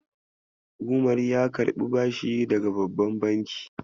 Umar ya karɓi bashi daga babban banki.